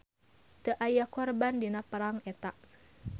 Teu aya korban dina perang eta.